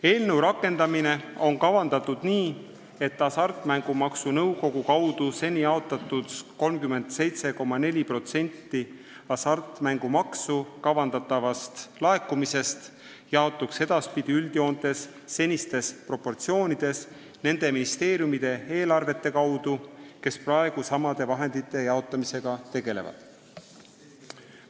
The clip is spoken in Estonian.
Eelnõu rakendamine on kavandatud nii, et Hasartmängumaksu Nõukogu kaudu seni jaotatud 37,4% hasartmängumaksu kavandatavast laekumisest jaotuks edaspidi üldjoontes senistes proportsioonides nende ministeeriumide eelarvete kaudu, kes praegu samade vahendite jaotamisega tegelevad.